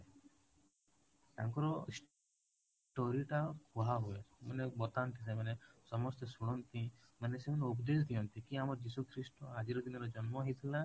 ତାଙ୍କର story ଟା କୁହା ହୁଏ ମାନେ ବତାନ୍ତି ସେମାନେ ସମସ୍ତେ ଶୁଣନ୍ତି ମାନେ ସେମାନେ ଉପଦେଶ ଦିଅନ୍ତି କି ଆମର ଯୀଶୁ ଖ୍ରୀଷ୍ଟ ଆଜି ର ଦିନରେ ଜନ୍ମ ହେଇଥିଲା